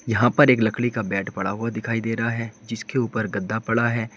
यहां पर एक लकड़ी का बेड पड़ा हुआ दिखाई दे रहा है जिसके ऊपर गद्दा पड़ा है।